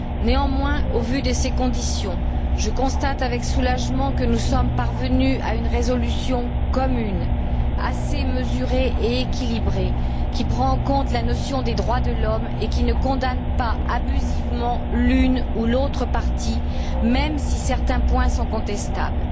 Néanmoins, au vu de ces conditions, je constate avec soulagement que nous sommes parvenus à une résolution commune assez mesurée et équilibrée qui prend en compte la notion des droits de l'homme et qui ne condamne pas abusivement l'une ou l'autre partie, même si certains points sont contestables.